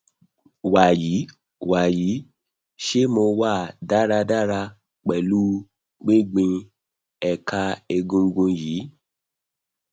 wayii wayii se mo wa daradara pelu gbigbin eka egungun yii